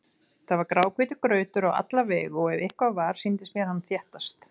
Það var gráhvítur grautur á alla vegu og ef eitthvað var, sýndist mér hann þéttast.